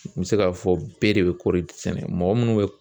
N bɛ se k'a fɔ bɛɛ de bɛ kɔɔri sɛnɛ mɔgɔ minnu bɛ